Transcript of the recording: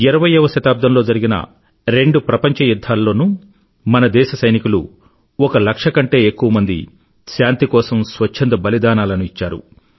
ఇరవయ్యవ శతాబ్దంలో జరిగిన రెండు ప్రపంచయుధ్ధాలలోనూ మన దేశ సైనికులు ఒక లక్ష కంటే ఎక్కువమంది శాంతి కోసం స్వచ్ఛంద బలిదానాలను ఇచ్చారు